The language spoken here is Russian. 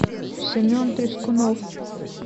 семен трескунов